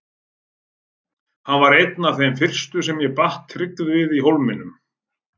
Hann varð einn af þeim fyrstu sem ég batt tryggð við í Hólminum.